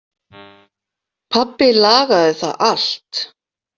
Pabbi lagaði það allt.